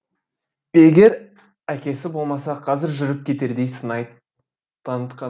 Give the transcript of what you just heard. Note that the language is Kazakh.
егер әкесі болмаса қазір жүріп кетердей сыңай танытқан